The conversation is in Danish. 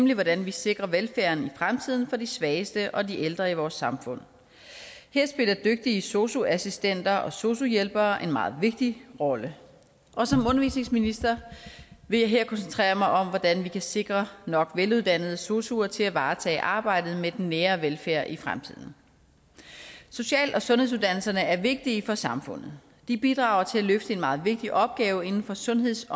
nemlig hvordan vi sikrer velfærden i fremtiden for de svageste og de ældre i vores samfund her spiller dygtige sosu assistenter og sosu hjælpere en meget vigtig rolle og som undervisningsminister vil jeg her koncentrere mig om hvordan vi kan sikre nok veluddannede sosu medarbejdere til at varetage arbejdet med den nære velfærd i fremtiden social og sundhedsuddannelserne er vigtige for samfundet de bidrager til at løfte en meget vigtig opgave inden for sundheds